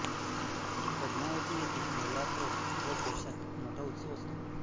पद्मावती येथे नवरात्र व पौषात मोठा उत्सव असतो